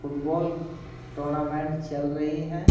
Football tournament चल रही है।